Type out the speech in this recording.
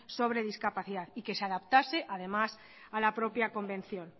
sobre discapacidad y que se adaptase además a la propia convención